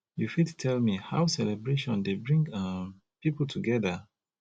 you fit tell me how celebration dey bring um people together